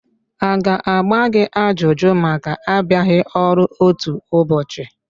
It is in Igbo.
A ga-agba gị ajụjụ maka abịaghị ọru otu ụbọchị?